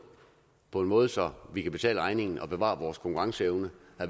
på en måde så vi kan betale regningen og bevare vores konkurrenceevne